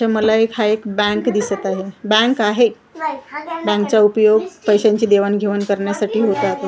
इथं मला एक हा एक बँक दिसत आहे बँक आहे बँकचा उपयोग पैशांची देवाणघेवाण करण्यासाठी होता तो .